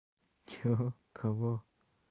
что кого